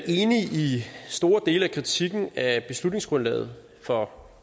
enige i store dele af kritikken af beslutningsgrundlaget for